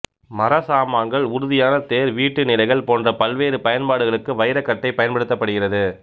மரச்சாமான்கள்உறுதியான தேர் வீட்டு நிலைகள் போன்ற பல்வேறு பயன்பாடுகளுக்கு வைரக்கட்டை பயன்படுத்தப்படுகிறது